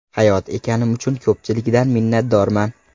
Hayot ekanim uchun ko‘pchilikdan minnatdorman.